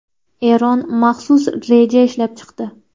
Eron maxsus reja ishlab chiqdi.